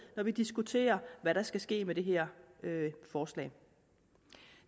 når vi diskuterer hvad der skal ske med det her forslag